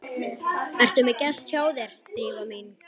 Ertu með gest hjá þér, Drífa mín?